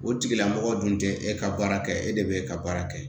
O tigilamɔgɔ dun tɛ e ka baara kɛ e de bɛ ka baara kɛ